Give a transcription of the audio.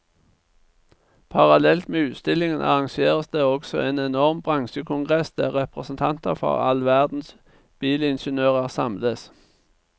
Parallelt med utstillingen arrangeres det også en enorm bransjekongress der representanter for all verdens bilingeniører samles.